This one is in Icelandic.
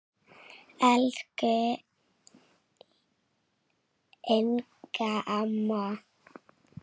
Elsku Inga amma.